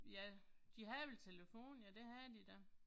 Ja. De havde vel telefon, ja det havde de da